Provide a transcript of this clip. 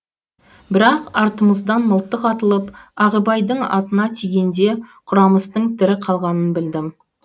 бірақ артымыздан мылтық атылып ағыбайдың атына тигенде құрамыстың тірі қалғанын білдім